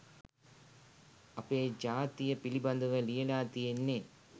අපේ ජාතිය පිළිබඳව ලියලා තියෙන්නේ